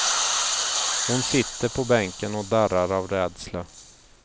Hon sitter på bänken och darrar av rädsla.